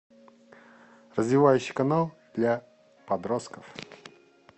развивающий канал для подростков